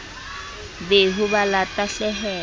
be ho ba la tahlehelo